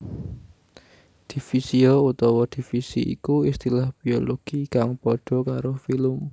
Divisio utawa divisi iku istilah Biologi kang padha karo filum